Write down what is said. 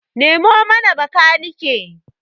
Nemo mana bakanike!